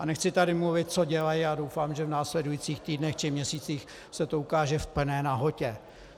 A nechci tady mluvit, co dělají, a doufám, že v následujících týdnech či měsících se to ukáže v plné nahotě.